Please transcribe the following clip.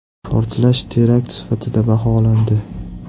Portlash terakt sifatida baholandi .